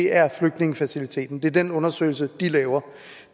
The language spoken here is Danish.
er flygtningefaciliteten det er den undersøgelse de laver